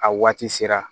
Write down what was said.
A waati sera